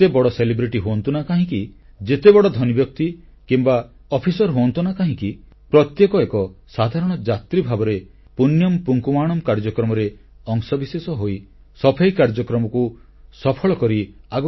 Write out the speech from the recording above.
ଯେତେବଡ଼ ମହାନ ବ୍ୟକ୍ତି ହୁଅନ୍ତୁ ନା କାହିଁକି ଯେତେବଡ଼ ଧନୀବ୍ୟକ୍ତି କିମ୍ବା ଅଫିସର ହୁଅନ୍ତୁ ନା କାହିଁକି ପ୍ରତ୍ୟେକ ଏକ ସାଧାରଣ ଯାତ୍ରୀ ଭାବରେ ପୁଣ୍ୟମ୍ ପୁଙ୍କାୱାଣମ୍ କାର୍ଯ୍ୟକ୍ରମରେ ଅଂଶବିଶେଷ ହୋଇ ସଫେଇ କାର୍ଯ୍ୟକ୍ରମକୁ ସଫଳ କରି ଆଗକୁ ବଢ଼ନ୍ତି